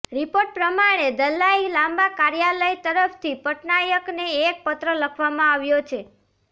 report પ્રમાણે Dalai Lama કાર્યાલય તરફથી પટનાયકને એક પત્ર લખવામાં આવ્યો છે